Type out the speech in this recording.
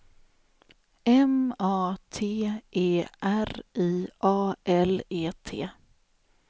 M A T E R I A L E T